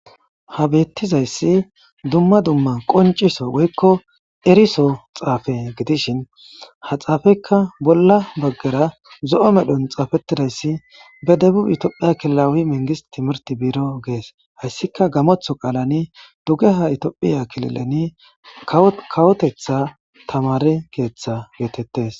Ha bethizayssi dumma dumma qonciso woykko erisso xaffe gidishin ha xaffekka bolla bagara zoo' medhon xaffettidayss ( be debub ethophiya kilillawi mengistt timihirt birro gess) hayssikka gamoththo qaalani dugeha thophyya kililleni kawoththeta tamare keeththe gethethess.